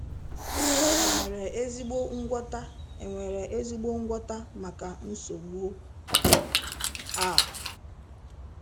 Enwere ezigbo ngwọta Enwere ezigbo ngwọta maka nsogbu a?